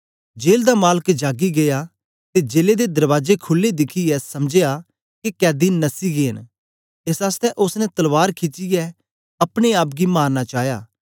jail दा मालक जागी गीया ते जेले दे दरबाजे खुले दिखियै समझया के कैदी नस्सी गै न एस आसतै ओसने तलवार खिचीये अपने आप गी मारना चाया